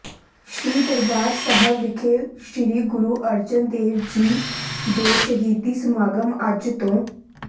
ਸ੍ਰੀ ਦਰਬਾਰ ਸਾਹਿਬ ਵਿਖੇ ਸ੍ਰੀ ਗੁਰੂ ਅਰਜਨ ਦੇਵ ਜੀ ਦੇ ਸ਼ਹੀਦੀ ਸਮਾਗਮ ਅੱਜ ਤੋਂ